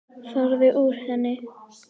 Farðu úr henni.